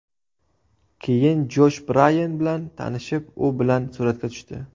Keyin Josh Brayan bilan tanishib, u bilan suratga tushdi.